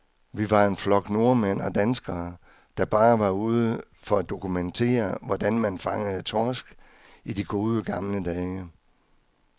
Vi var en flok nordmænd og danskere, der bare var ude for at dokumentere, hvordan man fangede torsk i de gode, gamle dage.